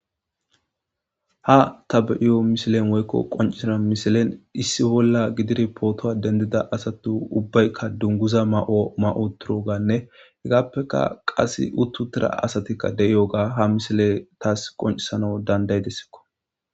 Ha ta be'iyo mishilen woykko qoncisana misilen issi bolla gidid pootowa dendida asatu ubbaykka dunguza ma'o ma'o turo gaanne hegaappeka qass uttutira asatikka de'iyogaa ha misile taas qoncisana danda'idessikko.